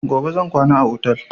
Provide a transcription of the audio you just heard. Gobe zan kwana a otel